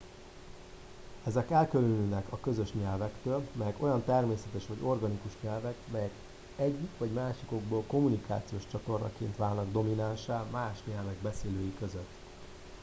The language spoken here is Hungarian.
ezek elkülönülnek a közös nyelvektől melyek olyan természetes vagy organikus nyelvek melyek egyik vagy másik okból kommunikációs csatornaként válnak dominánssá más nyelvek beszélői között